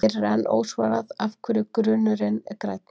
Hér er enn ósvarað af hverju grunurinn er grænn.